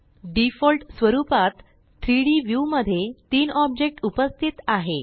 default स्वरुपात3D view मध्ये तीन ऑब्जेक्ट उपस्थित आहेत